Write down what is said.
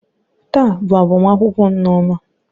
Taa bụ agbamakwụkwọ nneoma